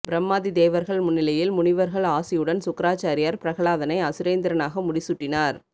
பிரம்மாதி தேவர்கள் முன்னிலையில் முனிவர்கள் ஆசியுடன் சுக்கிராச்சாரியார் பிரகலாதனை அசுரேந்திரனாக முடி சூட்டினார்